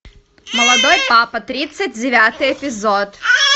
молодой папа тридцать девятый эпизод